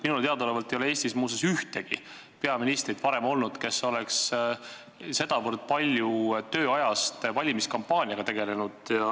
Minule teadaolevalt ei ole Eestis muuseas varem olnud ühtegi peaministrit, kes oleks tööajast sedavõrd palju valimiskampaaniaga tegelenud.